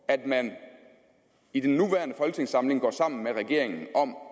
at man i den nuværende folketingssamling går sammen med regeringen om